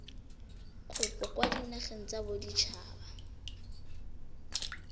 kopo kwa dinageng tsa baditshaba